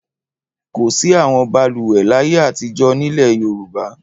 Kò sí àwọn balùwẹ̀ láyé àtijọ́ nílẹ̀ Yorùbá.